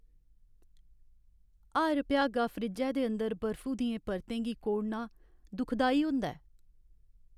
हर भ्यागा फ्रिज्जै दे अंदर बर्फु दियें परतें गी कोड़ना दुखदाई होंदा ऐ।